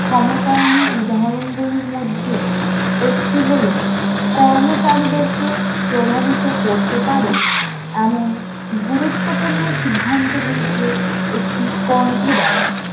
ক্ষমতায়নের উদাহরণগুলির মধ্যে একটি হলো কর্মচারীদেরকে প্রভাবিত করতে পারে এমন গুরুত্বপূর্ণ সিদ্ধান্তগুলিকে একটি কণ্ঠ দেওয়া